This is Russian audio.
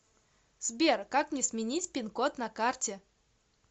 сбер как мне сменить пин код на карте